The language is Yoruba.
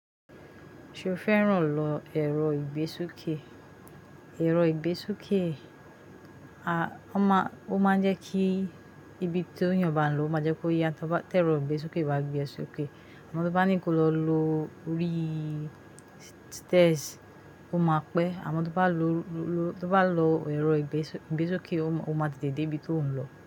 Ṣé o fẹ́ràn lọ ẹ̀rọ ìgbésokè? Ẹ̀rọ ìgbésokè a, ó máa ń jẹ́ kí ibi tí ó eyàn bá ń lọ, ó máa jẹ́ kó yá. Tẹ́ ẹ̀rọ ìgbésokè bá gbé ẹ sókè, àmọ́ tí o bá ní kó lọ orí stairs, ó máa pẹ́. Àmọ́ tí o bá lọ ẹ̀rọ ìgbésúkè, ó máa tetẹ̀ dé ibi tí ò ń lọ.